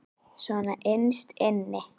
Svona innst inni.